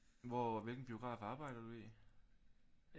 Hvor hvilken biograf arbejder du i